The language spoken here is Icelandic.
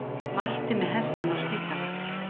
Mætti með hestinn á spítala